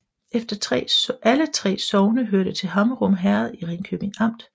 Alle 3 sogne hørte til Hammerum Herred i Ringkøbing Amt